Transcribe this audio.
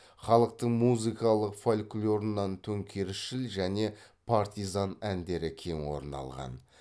халықтың музыкалық фольклорынан төңкерісшіл және партизан әндері кең орын алған